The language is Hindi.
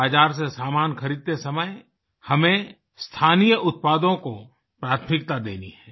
बाजार से सामान खरीदते समय हमें स्थानीय उत्पादों को प्राथमिकता देनी है